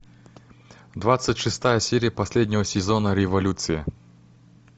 двадцать шестая серия последнего сезона революция